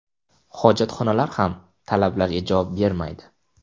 Hojatxonalar ham talablarga javob bermaydi”.